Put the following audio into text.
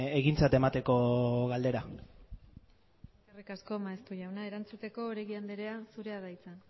egintzat emateko galdera eskerrik asko maeztu jauna erantzuteko oregi andrea zurea da hitza